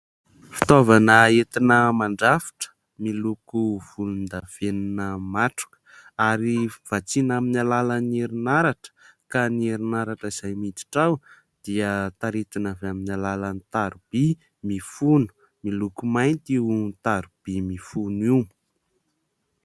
Fitaovana entina mandrafitra, miloko volondavenona matroka, ary vatsiana amin'ny alalan'ny herianaratra. Ka ny herinaratra izay miditra ao dia taritina avy amin'ny alalan'ny tariby mifono. Miloko mainty io tariby mifono io.